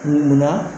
Munna